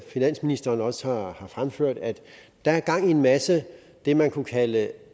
finansministeren også har fremført at der er gang i en masse af det man kunne kalde